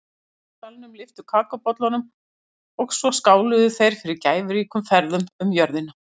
Allir í salnum lyftu kakóbollunum og svo skáluðu þeir fyrir gæfuríkum ferðum um jörðina.